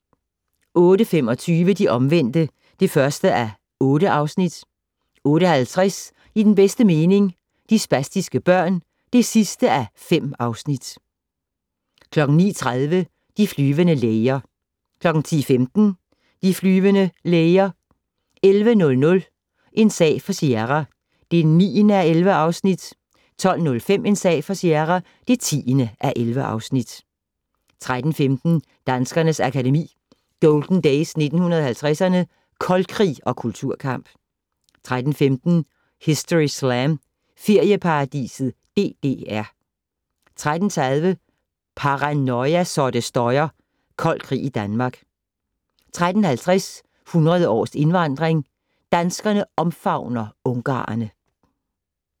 08:25: De Omvendte (1:8) 08:50: I den bedste mening - De spastiske børn (5:5) 09:30: De flyvende læger 10:15: De flyvende læger 11:00: En sag for Sierra (9:11) 12:05: En sag for Sierra (10:11) 13:15: Danskernes Akademi: Golden Days 1950'erne - Koldkrig og Kulturkamp 13:15: Historyslam - Ferieparadiset DDR 13:30: Paranoia så det støjer - Kold krig i Danmark 13:50: 100 års indvandring - Danskerne omfavner ungarerne